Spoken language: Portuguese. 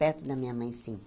Perto da minha mãe, sim.